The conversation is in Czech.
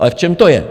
Ale v čem to je?